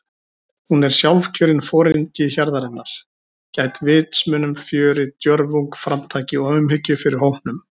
Hún er sjálfkjörinn foringi hjarðarinnar- gædd vitsmunum, fjöri, djörfung, framtaki og umhyggju fyrir hópnum.